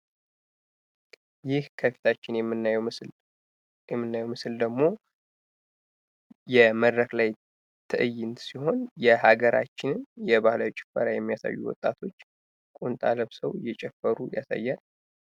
ከዚህ ከላይ የምናየው ምስል ደግሞ የመድረክ ላይ ትእይንት ሲሆን የሀገራችን ባህላዊ ጭፈራ የሚያሳዩ ወጣቶች ቁምጣ ለብሰው እየጨፈሩ ያሳያል።